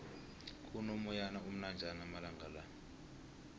kuno moyana omnanjana amalangala